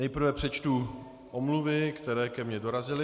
Nejprve přečtu omluvy, které ke mně dorazily.